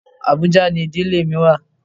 Abuja ni ìdílé mi wà.